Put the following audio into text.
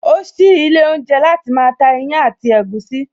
O sí ilé oúnjẹ láti máa ta ìyàn àti ẹ̀gúsí